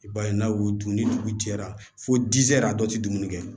I b'a ye n'a y'u dun ni dugu jɛra fo dɛrɛn a dɔw tɛ dumuni kɛ